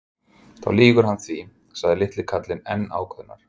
Þá lýgur hann því sagði litli karlinn enn ákveðnari.